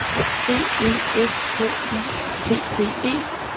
B E S K Y T T E